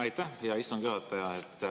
Aitäh, hea istungi juhataja!